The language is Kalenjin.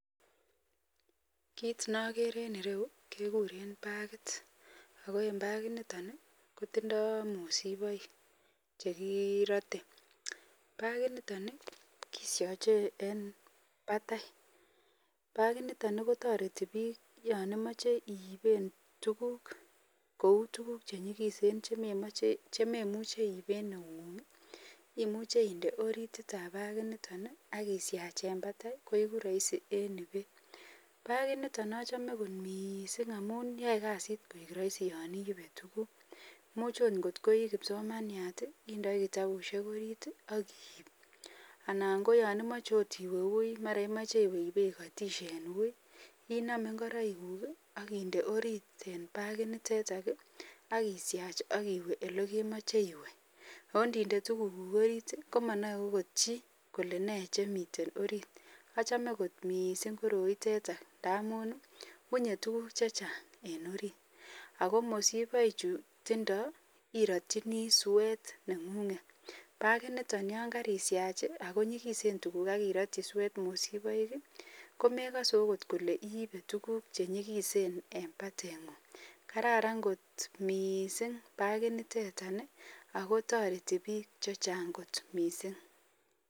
Kit nakere en ireu ko bakit ako en bakit niton koitindoi mosiboik chekirote bakit niton keshaje eb batai bakit niton kotareti bik yanimache iiben tuguk Kou tuguk chenyikisen chememuche iben noungung imuche inde orit ab bakit niton akishach en betei koigu rahisi en ibet bakit niton achome mising amun yae kasit koigu Rahi yangiibe tuguk imuche okot kotkikipsomaniat indoit kitabusiek orit akiib anan koyanimache iwe wi mara imache iwe ikatishe en woi iname ingoroik guk akinde oriit en bakit niton akishach akiwe elemache iwe koninde tuguk orit komanae Chito Kole kende nei bakit niton achome kot mising koroitetan ngamun wunye tuguk chechang en orit akomisiboik chuto keratin swet nenguget bakit niton nishach akonyikisen tuguk irotyi swet mosiboik komekase okot Kole iibe tuguk chuton chenyikisen en batengun Karan kot mising bakinitetan akotareti bik chechang mising